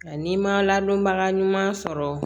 Ani ma ladonbaga ɲuman sɔrɔ